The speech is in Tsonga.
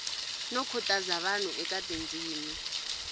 no khutaza vanhu eka tindzimi